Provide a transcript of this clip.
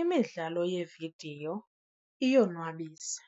Imidlalo yeevidiyo iyonwabisa